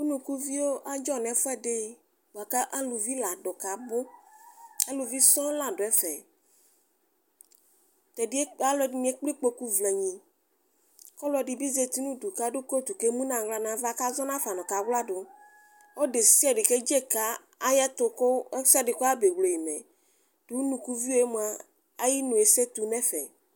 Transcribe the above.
Ʋnukuvio adzɔ nʋ ɛfʋedi bʋkʋ alʋvi ladʋ kʋ abʋ alʋvi sɔŋ ladʋ ɛdʋ ɛdini ekple ikpokʋ la vlenyi kʋ ɔlʋdibi zati nʋ ʋdʋ kʋ adʋ kotʋ kʋ ekplɛ ʋwɔ xafa nʋ ava kʋ azɔ nafa kʋ kawladʋ ɔlʋ deside kedze kʋ ayu ɛtʋ kʋ ɛsɛdi kɔfa mewle yi mɛ dʋ ʋnʋkʋvio yɛ ayʋ inʋ esetʋ nʋ ɛfɛ